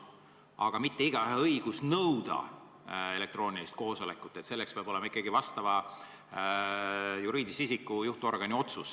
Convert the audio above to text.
Tegu pole igaühe õigusega nõuda elektroonilist koosolekut, selleks peab ikkagi olema juriidilise isiku juhtorgani otsus.